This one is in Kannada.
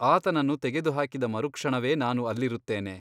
ಆತನನ್ನು ತೆಗೆದುಹಾಕಿದ ಮರುಕ್ಷಣವೇ ನಾನು ಅಲ್ಲಿರುತ್ತೇನೆ.